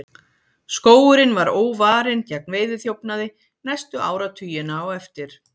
skógurinn var óvarinn gegn veiðiþjófnaði næstu áratugina á eftir